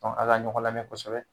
A' ka ɲɔgɔn lamɛn kosɛbɛ.